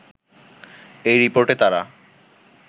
এই রিপোর্টে তারা